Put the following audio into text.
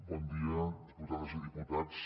bon dia diputades i diputats